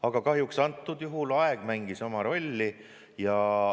Aga kahjuks antud juhul aeg mängis oma rolli.